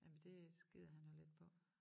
Jamen det skider han jo lidt på